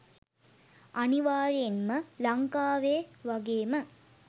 අනිවාර්යයෙන් ම ලංකාවේ වගේ ම